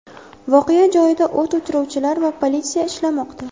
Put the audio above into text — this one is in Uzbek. Voqea joyida o‘t o‘chiruvchilar va politsiya ishlamoqda.